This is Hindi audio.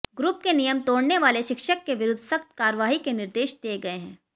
ग्रुप के नियम तोडऩे वाले शिक्षक के विरुद्ध सख्त कार्यवाही के निर्देश दिए गए हैं